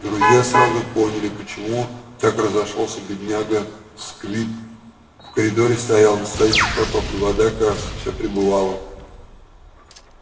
друзья сразу поняли почему так разошёлся бедняга сквиб в коридоре стоял настоящий потоп и вода кажется всё прибывала